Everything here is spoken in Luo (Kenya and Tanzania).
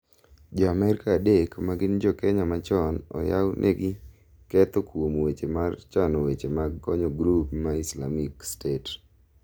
Jo Amerka adek ma gin jokenya machon oyaw negi ketho kuom weche mar chano weche mag konyo grup ma Isalmic state